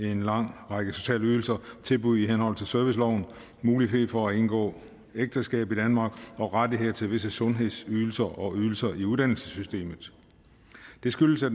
en lang række sociale ydelser og til tilbud i henhold til serviceloven mulighed for at indgå ægteskab i danmark og rettigheder til visse sundhedsydelser og ydelser i uddannelsessystemet det skyldes at